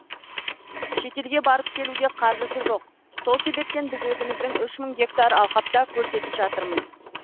шетелге барып келуге қаржысы жоқ сол себептен біз өзіміздің үш мың гектар алқапта көрсетіп жатырмыз